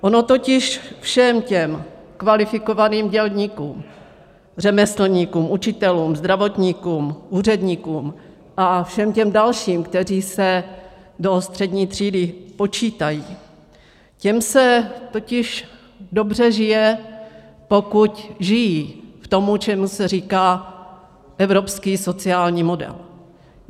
Ono totiž všem těm kvalifikovaným dělníkům, řemeslníkům, učitelům, zdravotníkům, úředníkům a všem těm dalším, kteří se do střední třídy počítají, těm se totiž dobře žije, pokud žijí v tom, čemu se říká evropský sociální model.